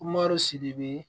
Marɔsi de be